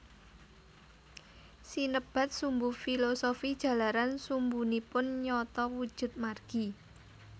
Sinebat sumbu filosofi jalaran sumbunipun nyata wujud margi